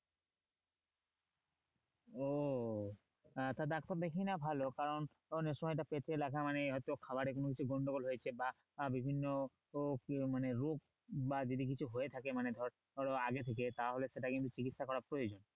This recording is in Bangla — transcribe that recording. ও আহ একটা ডাক্তার দেখিয়ে নেওয়া ভালো কারণ ধর এ সময়টা পেটে লাগা মানেই হয়তো খাবারে কোন কিছু গন্ডগোল হয়েছে বা বিভিন্ন মানে রোগ বা যদি কিছু হয়ে থাকে ধর ধরো আগে থেকে তাহলে সেটা কিন্তু চিকিৎসা করা প্রয়োজন।